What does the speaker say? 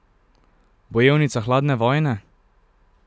Bojevnica hladne vojne?